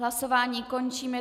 Hlasování končím.